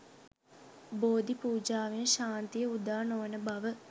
බෝධි පූජාවෙන් ශාන්තිය උදා නොවන බව